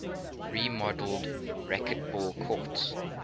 remodeled racquetball courts